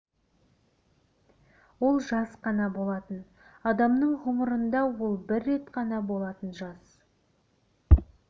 ол жас қана болатын адамның ғұмырында ол бір рет қана болатын жас